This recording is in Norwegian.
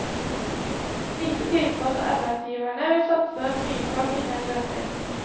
Lite tyder på at arbeidsgiverne vil satse mye på å finne en løsning.